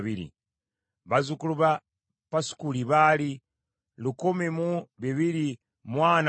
bazzukulu ba Pasukuli baali lukumi mu bibiri mu ana mu musanvu (1,247),